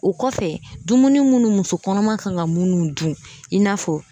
O kɔfɛ dumuni munnu muso kɔnɔma kan ka munnu dun i n'a fɔ